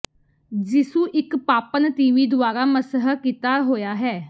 ਯਿਸੂ ਇੱਕ ਪਾਪਣ ਤੀਵੀਂ ਦੁਆਰਾ ਮਸਹ ਕੀਤਾ ਹੋਇਆ ਹੈ